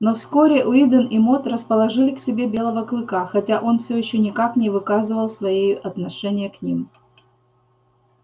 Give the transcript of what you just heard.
но вскоре уидон и мод расположили к себе белого клыка хотя он все ещё никак не выказывал своею отношения к ним